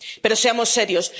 Pero seamos serios.